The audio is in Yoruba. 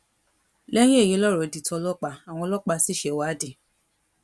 lẹyìn èyí lọrọ di tọlọpàá àwọn ọlọpàá sì ṣèwádìí